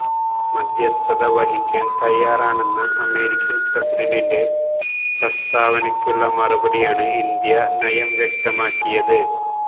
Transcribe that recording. മധ്യസ്ഥത വഹിക്കാന് തയ്യാറാണെന്ന അമേരിക്കന് പ്രസിഡന്റിന്റെ പ്രസ്താവനക്കുള്ള മറുപടിയായാണ് ഇന്ത്യ നയം വ്യക്തമാക്കിയത്